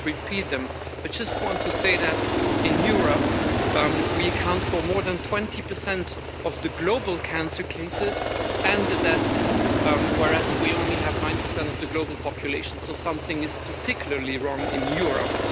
I won't repeat them, but I just want to say that in Europe we account for more than 20 of global cancer cases and deaths, whereas we only have 9 of the global population, so something is particularly wrong in Europe.